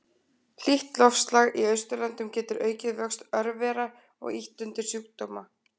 Hlýtt loftslag í Austurlöndum getur aukið vöxt örvera og ýtt undir sjúkdóma.